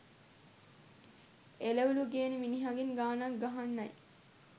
එළවළු ගේන මිනිහගෙන් ගානක්‌ ගහගන්නයි.